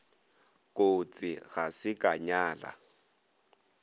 kotsi ga se ka nyala